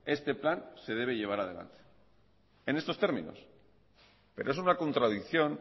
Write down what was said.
este plan se debe llevar adelante en estos términos pero es una contradicción